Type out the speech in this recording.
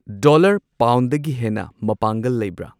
Dollar ꯄꯥꯎꯟꯗꯒꯤ ꯍꯦꯟꯅ ꯃꯄꯥꯡꯒꯜ ꯂꯩꯕꯔꯥ?